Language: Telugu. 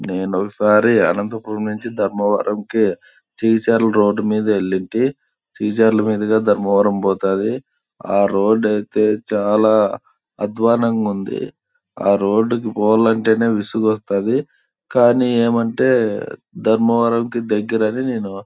నేను ఒకసారి అనంతపురం నుంచి ధర్మవరంకి చిచ్చర్ల రోడ్ మీద వెలితి సిచర్ల మీదగా ధర్మవరం పోతది ఆ రోడ్ అయితే చాల అధ్వానంగా ఉంది ఆ రోడ్ పోవాలంటి నే విసుగు వస్తాది కానీ ఏమి అంటే ధర్మవరానికి దగ్గర అని నేను --